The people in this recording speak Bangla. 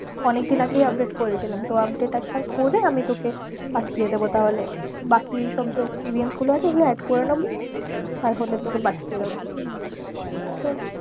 অনেক দিন আগেই update করেছিলাম তো update একবার করে আমি তোকে পাঠিয়েদেবো তাহলে, বাকি সব যা experience আছে ও গুলো add করেনেবো আর হলে তোকে পাঠিয়েদেব।